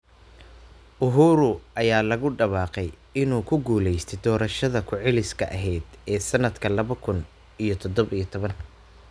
Uhuru ayaa lagu dhawaaqay in uu ku guulaystay doorashadii ku celiska ahayd ee sanadka laba kun iyo todobo iyo toban.